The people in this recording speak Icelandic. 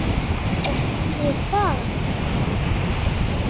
Ekki það.?